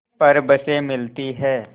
पर बसें मिलती हैं